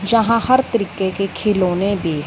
यहां हर तरीके के खिलौने भी--